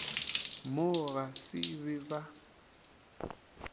mo ga se be ba